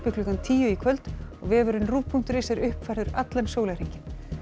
klukkan tíu í kvöld og vefurinn rúv punktur is er uppfærður allan sólarhringinn